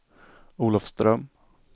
Olofström